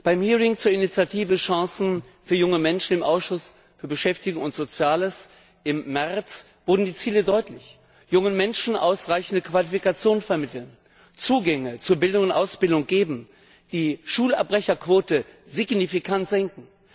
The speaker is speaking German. Bei der Anhörung zur Initiative Chancen für junge Menschen im Ausschuss für Beschäftigung und soziale Angelegenheiten im März wurden die Ziele deutlich jungen Menschen ausreichende Qualifikation vermitteln, Zugänge zu Bildung und Ausbildung geben, die Schulabbrecherquote signifikant senken.